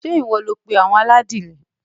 Ṣé ìwọ ló pé àwọn aládìrẹ?